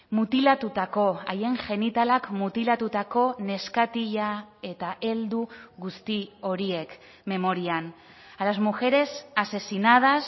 mutilatutako haien genitalak mutilatutako neskatila eta heldu guzti horiek memorian a las mujeres asesinadas